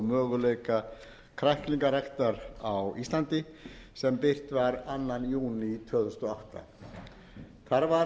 möguleika kræklingaræktar á íslandi sem birt var annar júní tvö þúsund og átta þar var gerð